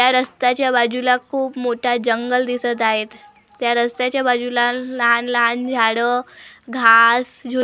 या रस्त्याच्या बाजूला खूप मोठा जंगल दिसत आहेत त्या रस्त्याच्या बाजूला लहान लहान झाडं घास झु--